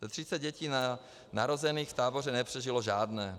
Ze 30 dětí narozených v táboře nepřežilo žádné.